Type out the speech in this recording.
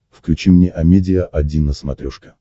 включи мне амедиа один на смотрешке